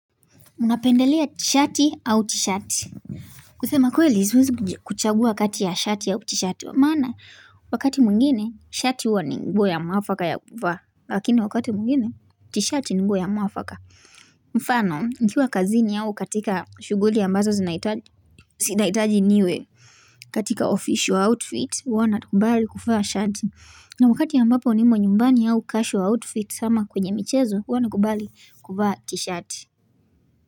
Unapendelea tshati au tshati kusema kweli siwezi kuchagua kati ya shati au tshati maana wakati mwingine shati huwa ni nguo ya mwafaka ya kuvaa Lakini wakati mwngine tshati ni nguo ya mwafaka mfano nikiwa kazini au katika shuguli ambazo zina zinaitaji niwe katika official outfit huwa na kubali kuvaa shati na wakati ya ambapo nimo nyumbani au casual outfit ama kwenye michezo huwa na kubali kuvaa tshati.